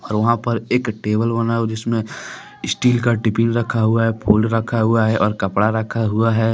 वहां पर एक टेबल बनाओ जिसमें स्टील का टिफिन रखा हुआ है फुल रखा हुआ है और कपड़ा रखा हुआ है।